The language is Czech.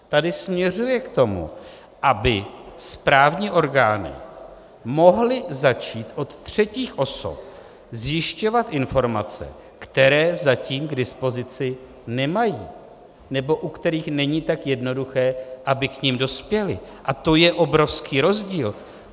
Tady směřuje k tomu, aby správní orgány mohly začít od třetích osob zjišťovat informace, které zatím k dispozici nemají nebo u kterých není tak jednoduché, aby k nim dospěly, a to je obrovský rozdíl.